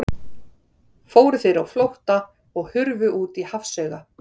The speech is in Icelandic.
Fóru þeir á flótta og hurfu út í hafsauga.